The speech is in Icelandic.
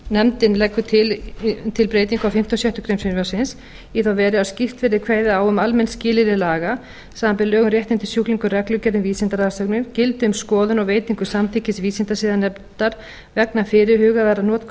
nefndin leggur til breytingu á fimmta og sjöttu greinar frumvarpsins í þá veru að skýrt verði kveðið á um að almenn skilyrði laga samanber lög um réttindi sjúklinga og reglugerð um vísindarannsóknir gildi við skoðun og veitingu samþykkis vísindasiðanefndar vegna fyrirhugaðrar notkunar